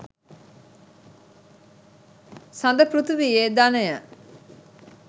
සඳ පෘථීවියේ ධනය